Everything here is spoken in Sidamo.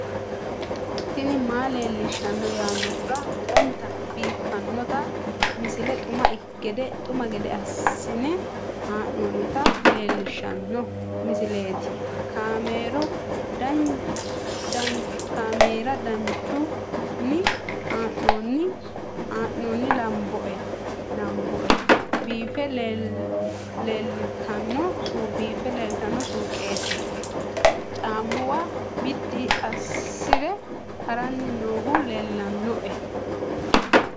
tini maa leelishshanno yaannohura lowonta biiffanota misile xuma gede assine haa'noonnita leellishshanno misileeti kaameru danchunni haa'noonni lamboe biiffe leeeltanno suuqete caammuwa biddi assire haranni noohu lellanni nooe